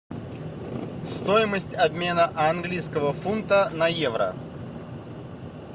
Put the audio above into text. стоимость обмена английского фунта на евро